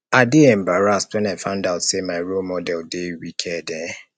i dey embarrassed wen i find out say my role model dey wicked um